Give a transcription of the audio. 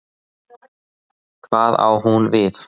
Hvað á hún við?